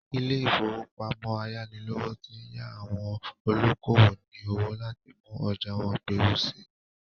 Ilé-ìfowópamọ ayánilówó ti yá àwọn olókowò ní owó láti mú ọjà wọ́n gbèrú sí i.